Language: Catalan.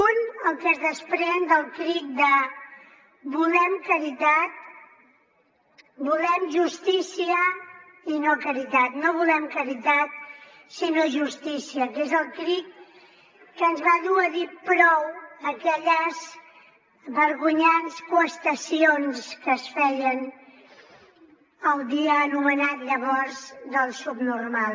un el que es desprèn del crit de volem justícia i no caritat no volem caritat sinó justícia que és el crit que ens va dur a dir prou a aquelles vergonyants qüestacions que es feien el dia anomenat llavors del subnormal